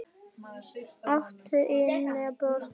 áttu yngri bróður?